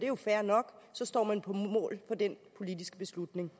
jo fair nok og så står man på mål for den politiske beslutning